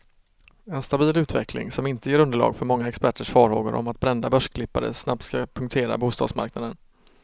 En stabil utveckling, som inte ger underlag för många experters farhågor om att brända börsklippare snabbt ska punktera bostadsmarknaden.